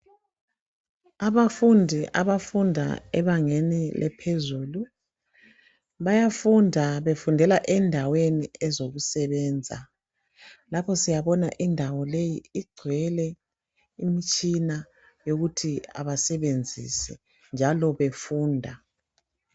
Abafundi abafunda ebangeni eliphezulu bayafunda befundela endaweni ezokusebenza. Lapha siyabona indawo leyi igcwele imtshina yokuthi abasebenzise njalo befunda.